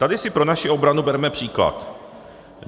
Tady si pro naši obranu berme příklad.